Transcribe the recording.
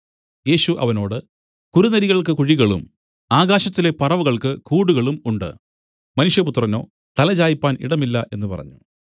യേശു അവനോട് കുറുനരികൾക്ക് കുഴികളും ആകാശത്തിലെ പറവകൾക്ക് കൂടുകളും ഉണ്ട് മനുഷ്യപുത്രനോ തലചായിപ്പാൻ ഇടം ഇല്ല എന്നു പറഞ്ഞു